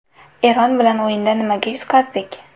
Eron bilan o‘yinda nimaga yutqazdik?